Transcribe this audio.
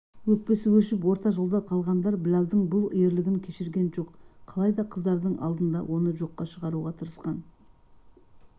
өкпесі өшіп орта жолда қалғандар біләлдің бұл ерлігін кешірген жоқ қалай да қыздардың алдында оны жоққа шығаруға тырысқан